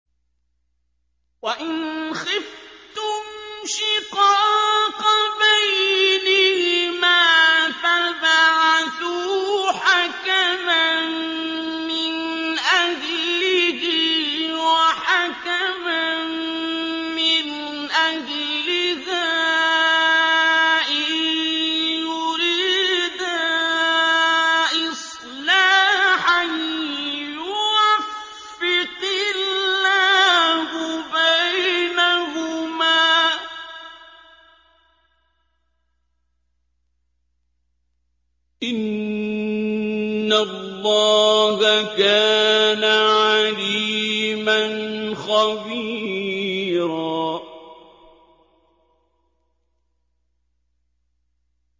وَإِنْ خِفْتُمْ شِقَاقَ بَيْنِهِمَا فَابْعَثُوا حَكَمًا مِّنْ أَهْلِهِ وَحَكَمًا مِّنْ أَهْلِهَا إِن يُرِيدَا إِصْلَاحًا يُوَفِّقِ اللَّهُ بَيْنَهُمَا ۗ إِنَّ اللَّهَ كَانَ عَلِيمًا خَبِيرًا